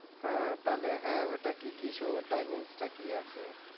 হ্যাঁ তাহলে হ্যাঁ ওইটা কি কি show timeings টা কি আছে